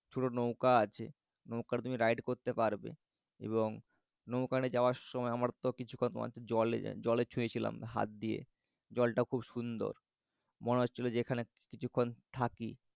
এখানে ছোট নৌকা আছে। নৌকা তুমি ride করতে পারবে। এবং নউকাতে যাওয়ার সময় আমার তো কিছুক্ষন মনে হচ্চিল জলে ছুয়েছিলাম হাত দিয়ে। জলটা খুব সুন্দর। মনে হচ্ছিল যে এখানে কিছুক্ষণ থাকি